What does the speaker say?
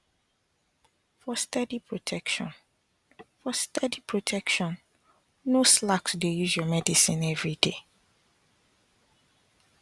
for steady protection for steady protection no slack to dey use your medicine everyday